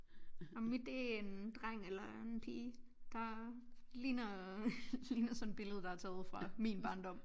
Og mit det en dreng eller en pige der ligner ligner sådan et billede der er taget fra min barndom